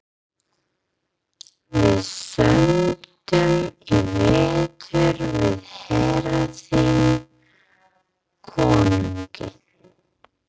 Við sömdum í vetur við herra þinn konunginn.